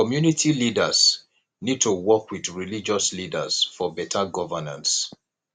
community leaders need to work with religious leaders for beta governance